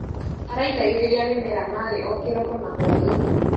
Araitagĩrĩria mĩmera maĩ o kĩroko na hwainĩ.